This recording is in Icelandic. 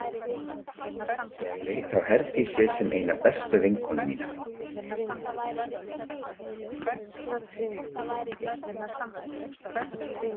Ég leit á Herdísi sem eina bestu vinkonu mína.